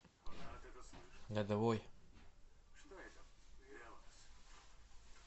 лядовой